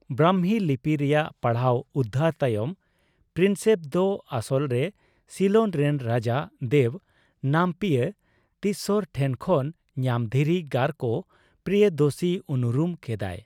ᱵᱨᱟᱢᱦᱤ ᱞᱤᱯᱤ ᱨᱮᱭᱟᱜ ᱯᱟᱲᱦᱟᱣ ᱩᱫᱽᱫᱷᱟᱨ ᱛᱟᱭᱚᱢ, ᱯᱨᱤᱱᱥᱮᱯ ᱫᱚ ᱟᱥᱚᱞᱨᱮ ᱥᱤᱞᱚᱱ ᱨᱮᱱ ᱨᱟᱡᱟ ᱫᱮᱵᱽᱱᱟᱢᱯᱤᱭᱚ ᱛᱤᱥᱥᱚᱨ ᱴᱷᱮᱱ ᱠᱷᱚᱱ ᱧᱟᱢ ᱫᱷᱤᱨᱤ ᱜᱟᱨᱠᱚ 'ᱯᱨᱤᱭᱚᱫᱚᱥᱤ' ᱩᱱᱩᱨᱩᱢ ᱠᱮᱫᱟᱭ ᱾